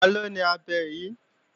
Taló ni abẹ yí?